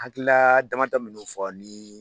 Hakilila dama dɔ minnu bɛ fɔ a ye.li